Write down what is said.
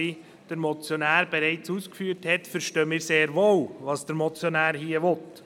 Wie der Motionär bereits ausgeführt hat, verstehen wir sehr wohl, was der Motionär hier will.